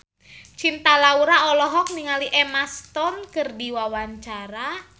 Cinta Laura olohok ningali Emma Stone keur diwawancara